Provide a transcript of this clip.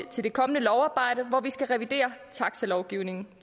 til det kommende lovarbejde hvor vi skal revidere taxalovgivningen